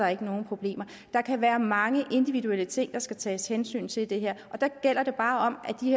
er nogen problemer der kan være mange individuelle ting der skal tages hensyn til i det her og der gælder det bare om